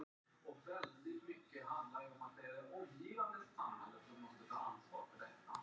Forsetinn er týndi sonurinn